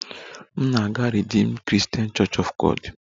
M na-aga Redeemed Christian Church of God